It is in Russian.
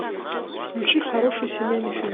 включи хороший семейный фильм